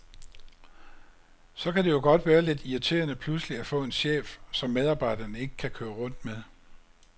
Så kan det jo godt være lidt irriterende pludselig at få en chef, som medarbejderne ikke kan køre rundt med.